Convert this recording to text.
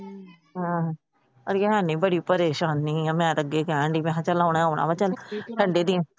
ਅੜਿਆ ਹੈਨੀ ਬੜੀ ਪਰੇਸ਼ਾਨੀ ਏ। ਮੈ ਤੇ ਅੱਗੇ ਕਹਿਣ ਡਾਇ ਚੱਲ ਆਉਣਾ ਆਉਣਾ